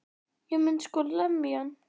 Ég myndi sko lemja hann.